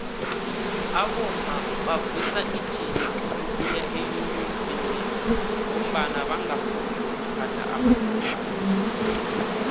abomma bavusa ijima lokuya eunion buildings ngombana bangafuni ukuphatha amadompass